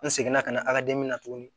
N segin na ka na a ka na tuguni